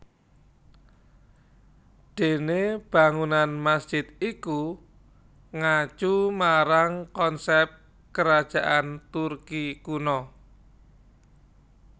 Dene bangunan masjid iku ngacu marang konsep Kerajaan Turki kuno